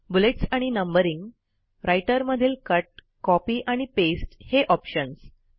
bullets आणि numbering Writer मधील cut copy आणि पास्ते हे ऑप्शन्स